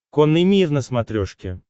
конный мир на смотрешке